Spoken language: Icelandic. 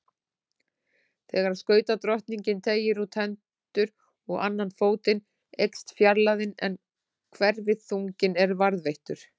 Þegar skautadrottningin teygir út hendur og annan fótinn eykst fjarlægðin en hverfiþunginn er varðveittur.